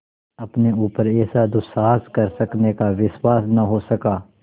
अपने ऊपर ऐसा दुस्साहस कर सकने का विश्वास न हो सका